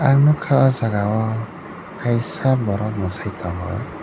ang nogka o jaga o kaisa borok moisai tongo.